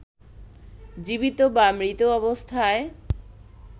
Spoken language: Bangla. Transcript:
জীবিত বা মৃত অবস্থায়